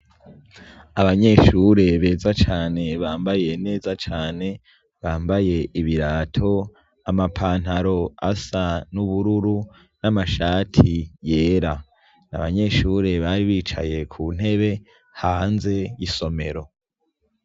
Abanyeshuri beza cane bambaye neza cane bambaye ibirato amapantaro asa n'ubururu n'amashati yera n'abanyeshuri babiri bicaye ku ntebe hanze y'isomero.